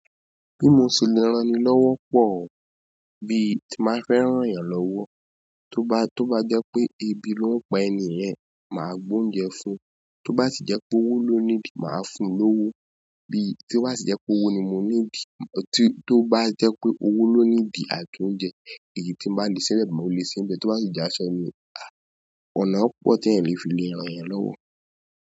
Bí mo ṣe lè ránni lọ́wọ́ pọ̀ o, bíi tí n bá fẹ́ ràn yàn lọ́wọ́, tó bá, tó bá jẹ́ pé ebi ló ń pa ẹni yẹn, màá gbé oúnjẹ fún un, tó bá sì jẹ́ pé owó ló ní di, màá fún un lówó, bí tí ó bá sì jẹ́ pé owó ni mo ní di, tí tó bá jẹ́ pé owó ló need àbí oúnjẹ, èyí tí màá lè ṣẹlẹ̀ máa ò lè ṣẹlẹ̀, tó bá sì jẹ́ aṣọ ni, àáàh, ọ̀nà púpọ̀ tí ẹ̀mí fi lè rán ẹ̀yàn lọ́wọ́.